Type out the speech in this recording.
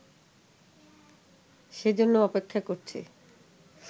সেজন্য অপেক্ষা করছে